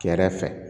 Kɛrɛfɛ